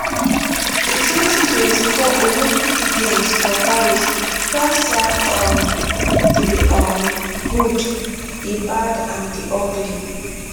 di 2024 olympic games for paris don serve um di um good di bad and di ugly